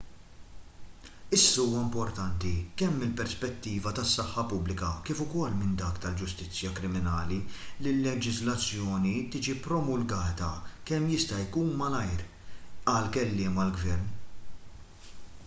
issa huwa importanti kemm mill-perspettiva tas-saħħa pubblika kif ukoll minn dik tal-ġustizzja kriminali li l-leġiżlazzjoni tiġi promulgata kemm jista' jkun malajr qal kelliem għall-gvern